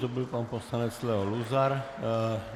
To byl pan poslanec Leo Luzar.